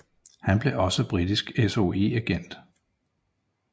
Han blev også britisk SOE agent